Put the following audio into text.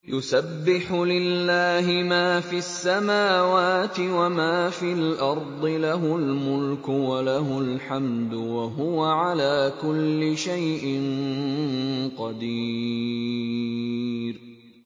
يُسَبِّحُ لِلَّهِ مَا فِي السَّمَاوَاتِ وَمَا فِي الْأَرْضِ ۖ لَهُ الْمُلْكُ وَلَهُ الْحَمْدُ ۖ وَهُوَ عَلَىٰ كُلِّ شَيْءٍ قَدِيرٌ